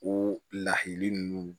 O lahali nunnu